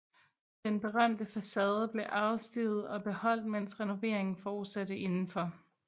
Den berømte facade blev afstivet og beholdt mens renoveringen fortsatte indenfor